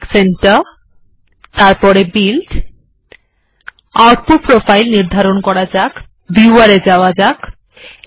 technique centre এরপর build output profile নির্ধারণ করা যাক viewer এ যাওয়া যাক